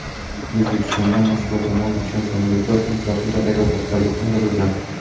O‘zbekistondan Moskva tomon uchgan samolyotlar ham zaxira aeroportlariga qo‘ndirilgan.